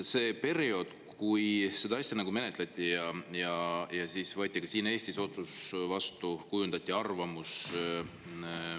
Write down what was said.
Sel perioodil, kui seda asja menetleti, võeti ka Eestis mingi otsus vastu, kujundati oma arvamus.